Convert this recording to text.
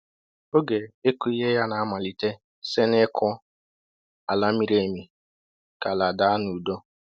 Oge ịkụ ihe ya na-amalite site n’ịkụ ala miri emi ka ala daa n’udo.